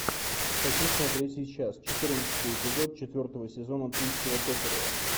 хочу смотреть сейчас четырнадцатый эпизод четвертого сезона тульского токарева